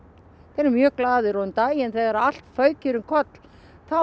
mjög glaðir um daginn þegar allt fauk hér um koll þá